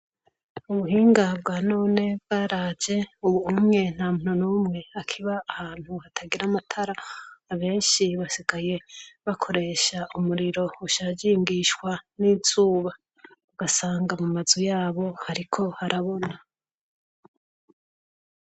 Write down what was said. Ubuhinga bwa none bwaraje ubu ntamuntu numwe akiba ahantu hatagira amatara abenshi basigaye bakoresha umuriro ushajingishwa n' izuba ugasanga mumazu yabo hariko harabona.